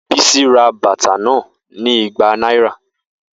Bisi ra bata na ni igba naira.